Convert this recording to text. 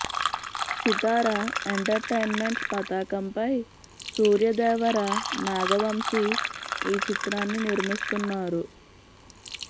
Sitara entertainments పతాకంపై సూర్యదేవర నాగ వంశీ ఈ చిత్రాన్ని నిర్మిస్తున్నారు